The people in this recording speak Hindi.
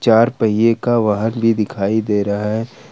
चार पहिए का वाहन भी दिखाई दे रहा है ।